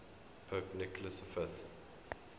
pope nicholas v